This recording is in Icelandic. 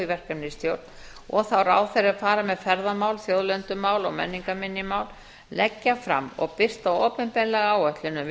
verkefnisstjórn og þá ráðherra er fara með ferðamál þjóðlendumál og menningarminjamál leggja fram og birta opinberlega áætlun um